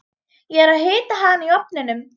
Ég er að hita hana í ofninum.